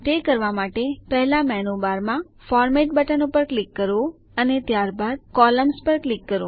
તે કરવા માટે પહેલા મેનૂ બારમાં ફોર્મેટ બટન પર ક્લિક કરો અને ત્યારબાદ કોલમ્ન્સ પર ક્લિક કરો